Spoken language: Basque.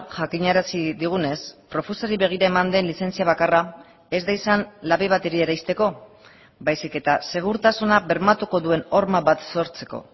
jakinarazi digunez profusari begira eman den lizentzia bakarra ez da izan labe bateria eraisteko baizik eta segurtasuna bermatuko duen horma bat sortzeko